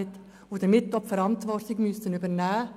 Deshalb müssen diese Leute auch die Verantwortung übernehmen,